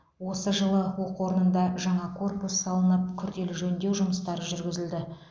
осы жылы оқу орнында жаңа корпус салынып күрделі жөндеу жұмыстары жүргізілді